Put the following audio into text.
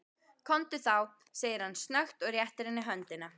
Komdu þá, segir hann snöggt og réttir henni höndina.